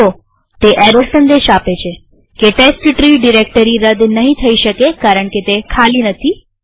જુઓતે error સંદેશ આપે છે કે ટેસ્ટટ્રી ડિરેક્ટરી રદ નહિ થઇ શકે કારણકે તે ખાલી નથી